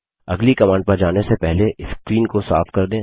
अगली कमांड पर जाने से पहले स्क्रीन को साफ कर दें